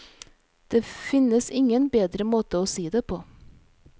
Det finnes ingen bedre måte og si det på.